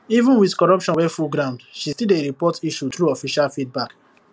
even with corruption wey full ground she still dey report issue through official feedback